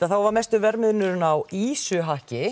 þá var mesti verðmunurinn á